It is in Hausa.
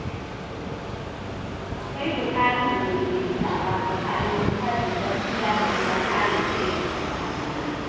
Akwai bukatar daidaitawa tsakanin fadin gaskiya da kuma kare kai daga barazana.